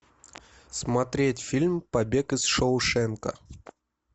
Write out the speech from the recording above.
смотреть фильм побег из шоушенка